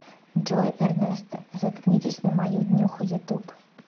джой эрнесто заткнитесь на мою днюху ютуб